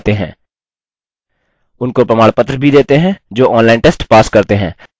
उनको प्रमाणपत्र भी देते हैं जो online test pass करते हैं